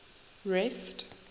rest